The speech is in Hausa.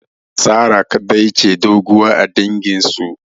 Sarah kadai ce doguwa a dangin su